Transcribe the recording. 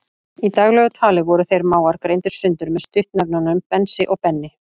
Í daglegu tali voru þeir mágar greindir sundur með stuttnefnunum Bensi og Benni.